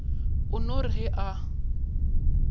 o no re ge a